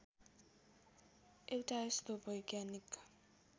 एउटा यस्तो वैज्ञानिक